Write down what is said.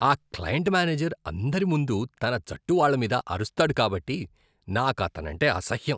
ఆ client manager అందరి ముందు తన జట్టు వాళ్ళ మీద అరుస్తాడు కాబట్టి నాకు అతనంటే అసహ్యం.